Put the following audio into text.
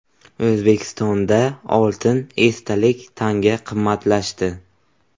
O‘zbekistonda oltin esdalik tanga qimmatlashdi.